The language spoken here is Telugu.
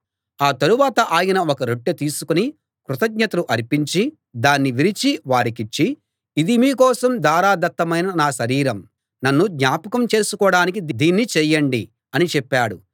ఆ తరవాత ఆయన ఒక రొట్టె తీసుకుని కృతజ్ఞతలు అర్పించి దాన్ని విరిచి వారికిచ్చి ఇది మీ కోసం ధారాదత్తమైన నా శరీరం నన్ను జ్ఞాపకం చేసుకోడానికి దీన్ని చేయండి అని చెప్పాడు